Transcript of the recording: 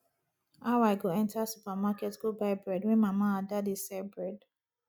how i go enter supermarket go buy bread when mama ada dey sell bread